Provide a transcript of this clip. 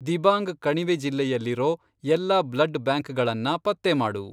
ದಿಬಾಂಗ್ ಕಣಿವೆ ಜಿಲ್ಲೆಯಲ್ಲಿರೋ ಎಲ್ಲಾ ಬ್ಲಡ್ ಬ್ಯಾಂಕ್ಗಳನ್ನ ಪತ್ತೆ ಮಾಡು.